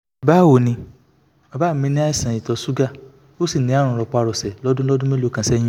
báwo ni bàbá mí ní àìsàn ìtọ̀ ṣúgà ó sì ní àrùn rọpárọsẹ̀ lọ́dún lọ́dún mélòó kan sẹ́yìn